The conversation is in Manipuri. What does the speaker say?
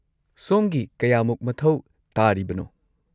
ꯁꯣꯝꯒꯤ ꯀꯌꯥꯃꯨꯛ ꯃꯊꯧ ꯇꯥꯔꯤꯕꯅꯣ?